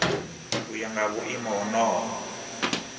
u ya nga vhuimo honoho